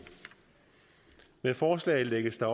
med forslaget lægges der